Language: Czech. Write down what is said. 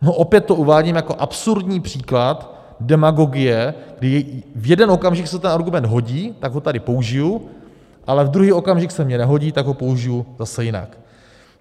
No opět to uvádím jako absurdní příklad demagogie, kdy v jeden okamžik se ten argument hodí, tak ho tady použiju, ale v druhý okamžik se mně nehodí, tak ho použiju zase jinak.